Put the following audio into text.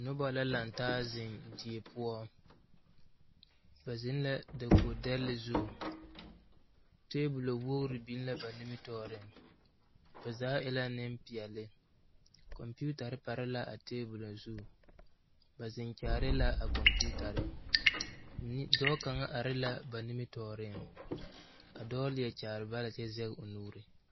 Noba lantaa ziŋ die poɔ ba ziŋ la dakoge dɛlle zu tabolɔ wogre biŋ la ba nimitɔɔriŋ ba zaa e la nimpeɛle kompeutare pare la a tabolɔ zu ba ziŋ kyaare la a compeutare nim dɔɔ kaŋa are la ba nimitɔɔriŋ a dɔɔ leɛ kyaare ba la kyɛ zɛge o nu.